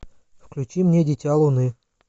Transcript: включи мне дитя луны